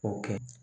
O kɛ